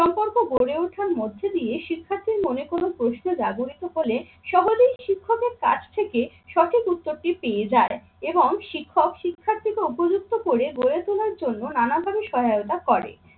সম্পর্ক গড়ে ওঠার মধ্য দিয়ে শিক্ষার্থীর মনে কোনো প্রশ্ন জাগরিত হলে সহজেই শিক্ষকের কাছ থেকে সঠিক উত্তরটি পেয়ে যায় এবং শিক্ষক শিক্ষার্থীকে উপযুক্ত করে গড়ে তোলার জন্য নানাভাবে সহায়তা করে।